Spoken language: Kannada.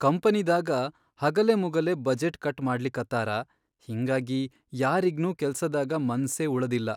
ಕಂಪನಿದಾಗ ಹಗಲೆಮುಗಲೆ ಬಜೆಟ್ ಕಟ್ ಮಾಡ್ಲಿಕತ್ತಾರ ಹಿಂಗಾಗಿ ಯಾರಿಗ್ನೂ ಕೆಲ್ಸದಾಗ ಮನ್ಸೇ ಉಳದಿಲ್ಲಾ.